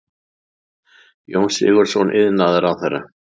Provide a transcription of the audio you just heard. Jón Sigurðsson iðnaðarráðherra.